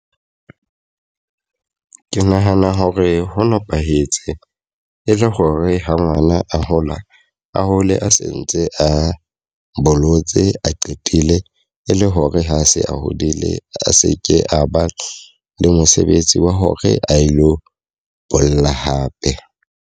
Ke nahana hore ho nepahetse e le hore ha ngwana a hola, a hole a sentse a bolotse a qetele. E le hore ha se a hodile, a se ke a ba le mosebetsi wa hore a lo bolla hape.